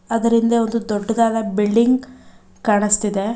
Other ಹಿಂದೆ ಒಂದು ದೊಡ್ಡದಾದ ಬಿಲ್ಡಿಂಗ್ ಕಾಣಿಸ್ತಿದೆ.